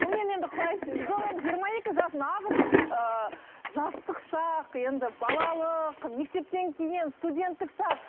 мен енді құлай сүйдім жиырма екі жас нағыз ыыы жастық шақ енді балалық мектептен кейін студенттік шақ